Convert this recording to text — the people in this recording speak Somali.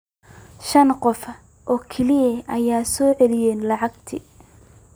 Shan qof oo kaliya ayaa soo celiyay lacagtii.